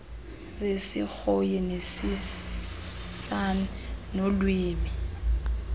zesirhoyi nesisan nolwimi